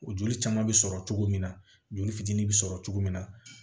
O joli caman bɛ sɔrɔ cogo min na joli fitinin bɛ sɔrɔ cogo min na